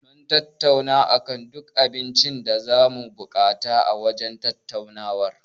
Mun tattauna akan duk abincin da zamu buƙata a wajen shaƙatawar.